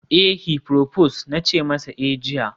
eh, heproposed na ce masa eh jiya